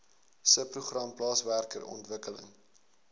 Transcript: subprogram plaaswerker ontwikkeling